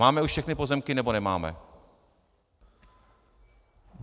Máme už všechny pozemky, nebo nemáme?